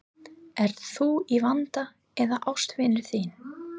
Ert þú í vanda eða ástvinur þinn?